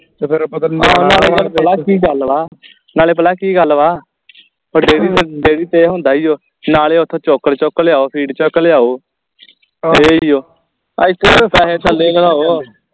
ਨਾਲੇ ਪਤਾ ਕਿ ਗੱਲ ਵਾ ਨਾਲੇ ਭਲਾ ਕਿ ਗੱਲ ਵਾ ਫੇਰ ਡੇਅਰੀ ਤੇ ਡੇਅਰੀ ਤੇ ਇਹ ਹੁੰਦਾ ਈ ਓ ਨਾਲੇ ਓਥੋਂ ਚੋਕਰ ਚੁੱਕ ਲਿਆਓ ਫੀਡ ਚੁੱਕ ਲਿਆਓ ਡੇਅਰੀ ਤੋਂ ਐਥੇ ਤਾਂ ਪੈਸੇ